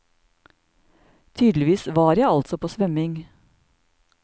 Tydeligvis var jeg altså på svømming.